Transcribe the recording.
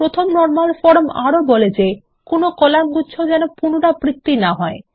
প্রথম normal form আরো বলে যে কোনো কলাম্গুচ্ছ যেন পুনরাবৃত্তি না হয়